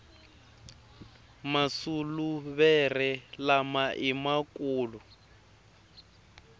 masuluvere lama ima kulu